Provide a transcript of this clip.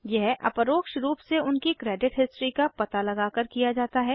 यह अपरोक्ष रूप से उनकी क्रेडिट हिस्ट्री का पता लगाकर किया जाता है